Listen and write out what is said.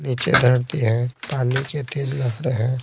नीचे धरती है पानी के तेज लहड़े हैं।